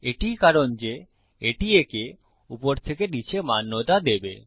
এটিই কারণ যে এটি একে উপর থেকে নীচে মান্যতা দেবে